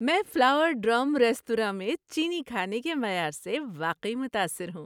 میں flower drum ریستوراں میں چینی کھانے کے معیار سے واقعی متاثر ہوں۔